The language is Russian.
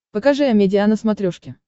покажи амедиа на смотрешке